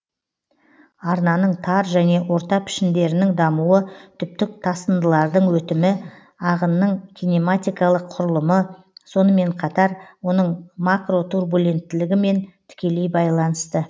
арнаның тар және орта пішіндерінің дамуы түптік тасындылардың өтімі ағынның кинематикалық құрылымы сонымен қатар оның макротурбуленттілігімен тікелей байланысты